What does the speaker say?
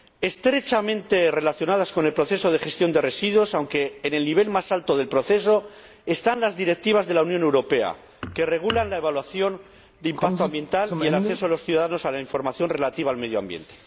Estrechamente relacionadas con el proceso de gestión de residuos, aunque en el nivel más alto del proceso, están las directivas de la Unión Europea que regulan la evaluación de impacto ambiental y el acceso de los ciudadanos a la información relativa al medio ambiente.